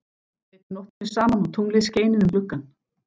Þau eyddu nóttinni saman og tunglið skein inn um gluggann.